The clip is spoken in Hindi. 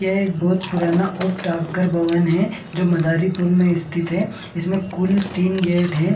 यहाँ एक बहोत पुराना भवन है जो मदारीपुर में स्थित है जिसमे तीन कुल गेट हैं।